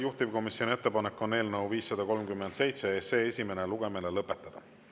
Juhtivkomisjoni ettepanek on eelnõu 537 esimene lugemine lõpetada.